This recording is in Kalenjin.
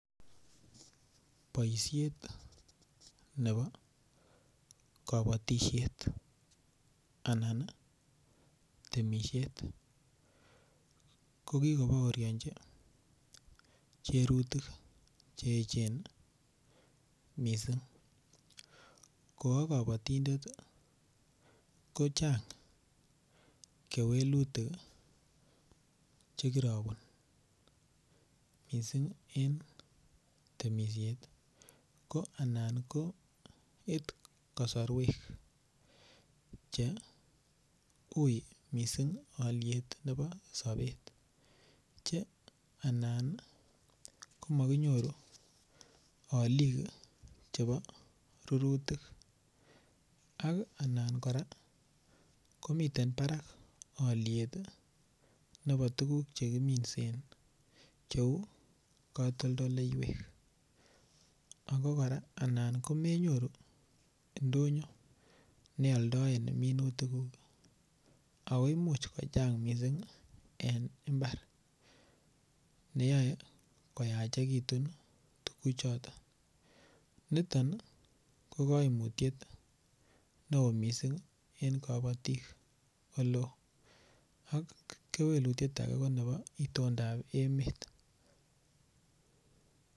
Boishet nebo kobotishet anan temishet kokikoboorionji charutik cheechen missing', ko okobotindet kochang kewelutik chekorobun missing' en temishet ko alan koitu kosoruek chei missing' oliet nebo sobet che anan komokinyoru olik chebo rurutik ak alan koraa komiten barak oliet chebo tuguk chekiminsen cheu kotondoleiwek ako koraa anan komenyoru indonyo neoldoen minutikuk ako imuch kochang missing' en imbar neyoe koyachekitun tuguchoton niton kokoimutyet neo missing' en kobotik eleo, ak kewelutiet ake konebo indondab emet.